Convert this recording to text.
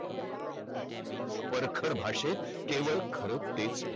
परखड भाषेत केवळ खर तेच